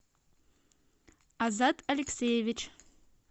азат алексеевич